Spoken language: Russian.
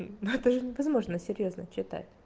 ну это же невозможно серьёзно читать